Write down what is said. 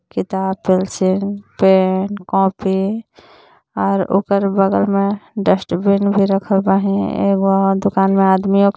किताब pencil pen copy और ओकर बगल में डस्टबिन भी रखल बाहीं एगो दुकान में आदमियों--